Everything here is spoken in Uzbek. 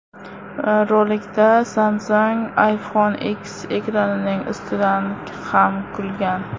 Rolikda Samsung iPhone X ekranining ustidan ham kulgan.